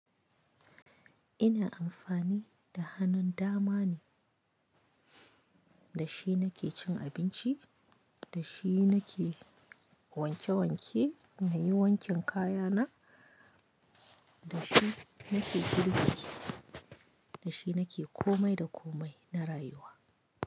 Ina amfani da hannun dama ne. Da shi nake cin abinci, da shi nake wanke-wanke na yi wankin kaya na, da shi nake girki, da shi nake komai da komai na rayuwa.